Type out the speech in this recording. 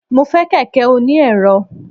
mo fe kẹkẹ oní erò